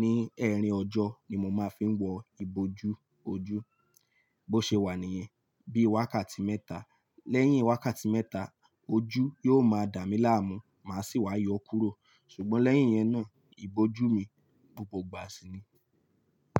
ní ẹrin ọjọ́ ni mo máa ń fi wọ ìbòjú ojú. Bó ṣe wà níyẹn, bí i wákàtí mẹ́ta. Lẹ́yìn wákàtí mẹ́ta, ojú yóò máa dà mí láàmú, màá sì wá yọ kúrò. Ṣùgbọ́n lẹ́yìn yẹn náà, ìbòjú mi gbógbó gbà si ni.